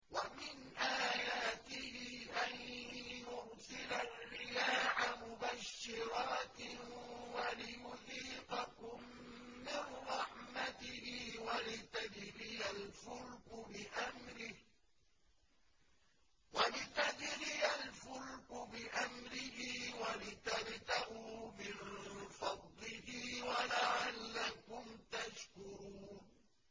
وَمِنْ آيَاتِهِ أَن يُرْسِلَ الرِّيَاحَ مُبَشِّرَاتٍ وَلِيُذِيقَكُم مِّن رَّحْمَتِهِ وَلِتَجْرِيَ الْفُلْكُ بِأَمْرِهِ وَلِتَبْتَغُوا مِن فَضْلِهِ وَلَعَلَّكُمْ تَشْكُرُونَ